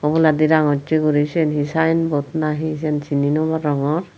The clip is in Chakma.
oboladi rangocche guri siyen hi sayenbod na hi buji no parongor.